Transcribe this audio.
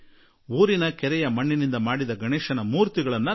ಹಳ್ಳಿಯ ಕೆರೆಯ ಮಣ್ಣಿನಿಂದ ಮಾಡಿದ ಗಣೇಶನ ಮೂರ್ತಿ ಉಪಯೋಗಿಸಲಿ